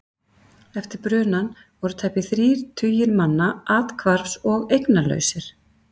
Eftir brunann voru tæpir þrír tugir manna athvarfs- og eignalausir.